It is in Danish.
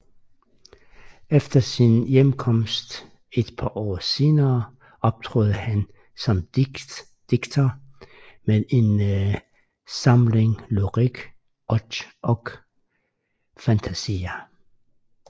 Efter sin hjemkomst et par år senere optrådte han som digter med en samling Lyrik och fantasier